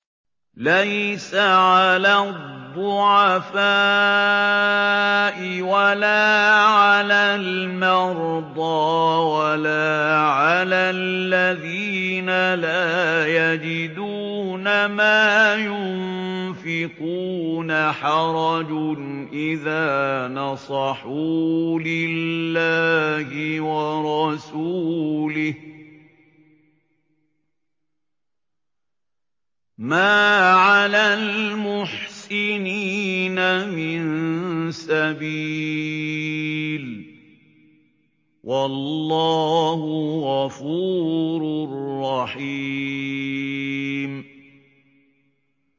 لَّيْسَ عَلَى الضُّعَفَاءِ وَلَا عَلَى الْمَرْضَىٰ وَلَا عَلَى الَّذِينَ لَا يَجِدُونَ مَا يُنفِقُونَ حَرَجٌ إِذَا نَصَحُوا لِلَّهِ وَرَسُولِهِ ۚ مَا عَلَى الْمُحْسِنِينَ مِن سَبِيلٍ ۚ وَاللَّهُ غَفُورٌ رَّحِيمٌ